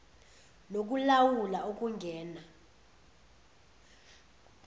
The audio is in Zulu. noku lawula okungena